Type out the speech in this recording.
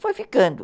Foi ficando.